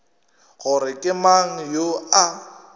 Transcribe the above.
gore ke mang yoo a